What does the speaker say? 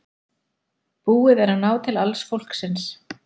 Búið að ná til alls fólksins